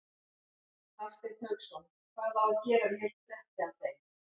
Hafsteinn Hauksson: Hvað á að gera við heilt bretti af þeim?